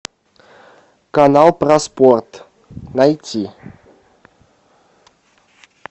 канал про спорт найти